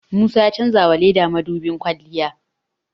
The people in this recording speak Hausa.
Musa ya chanjawa Ladi mudubin kwalliya